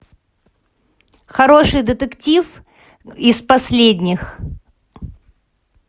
хороший детектив из последних